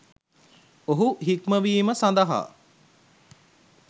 ඔහු හික්මවීම සඳහා